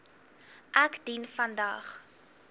ek dien vandag